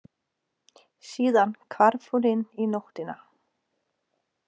Síðan hvarf hún inn í nóttina.